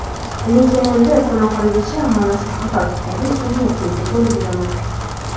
Lekin endi kun oxirigacha mana shu xabar tufayli energiyaga to‘lib yuraman).